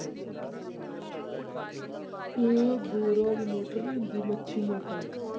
ਇਹ ਬੋਰਾਂ ਦੀ ਮੋਟਰ ਨੀ ਹੁੰਦੀ ਮੱਛੀ ਮੋਟਰ।